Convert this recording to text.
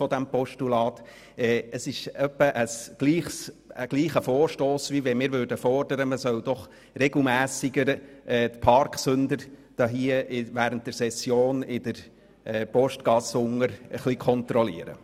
Dieser Vorstoss ist in etwa gleich wie eine allfällige Forderung, während der Session die Parksünder in der Postgasse zu kontrollieren.